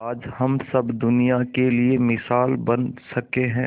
आज हम सब दुनिया के लिए मिसाल बन सके है